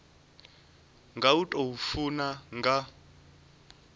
nga u tou funa nga